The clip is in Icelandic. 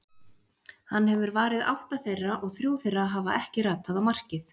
Hann hefur varið átta þeirra og þrjú þeirra hafa ekki ratað á markið.